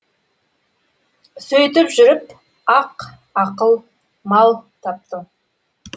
сөйтіп жүріп ақ ақыл мал таптың